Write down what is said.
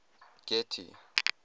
getty